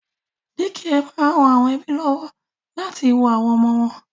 Dékià máa ń ran àwọn ẹ́bí lọ́wọ́ láti wo àwọn ọmọ wọn